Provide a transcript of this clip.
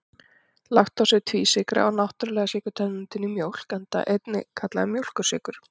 Laktósi er tvísykra og náttúrulega sykurtegundin í mjólk, enda einnig kallaður mjólkursykur.